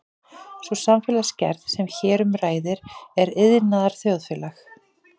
Sú samfélagsgerð sem hér um ræðir er iðnaðarþjóðfélagið.